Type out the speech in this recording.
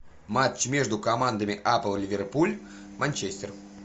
матч между командами апл ливерпуль манчестер